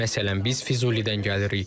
Məsələn, biz Füzulidən gəlirik.